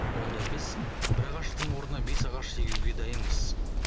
онда біз бір ағаштың орнына бес ағаш егуге дайынбыз